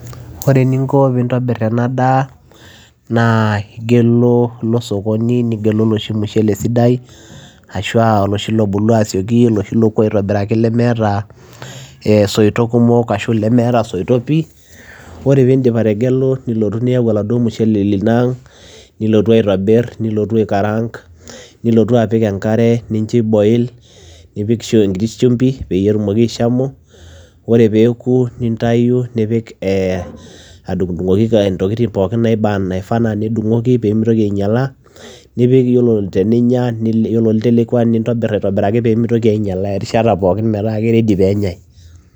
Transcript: Ore eninko piintobir ena daa naa igelu ilo osokoni nigelu oloshi mushele sidai ashu aa oloshi lobulu asioki, oloshi looku aitobiraki lemeeta ee isoitok kumok ashu lemeeta isoitok pii. Ore piindip ategelu nilotu niyau oladuo mushele lino aang' nilotu aitobir, nilotu aikaraang'. nilotu apik enkare nincho iboil, nipik shu enkiti shumbi peyie etumoki aishamu. Ore peeku nintayu nipik ee adung'dung'oki intokitin naiba naifaa naa nidung'oki pee mitoki ainyala, nipik iyiolo teninya nile ore olitelekua nintobir aitobiraki pee mitoki ainyala erishata pookin metaa keready peenyai.